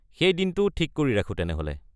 সেই দিনটো ঠিক কৰি ৰাখো তেনেহ’লে।